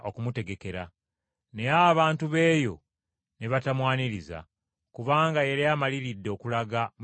Naye abantu b’eyo ne batamwaniriza, kubanga yali amaliridde okulaga mu Yerusaalemi.